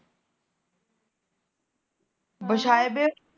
ਵਛਾਏਵੇ